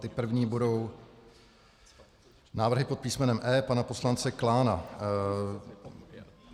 Ty první budou návrhy pod písmenem E pana poslance Klána.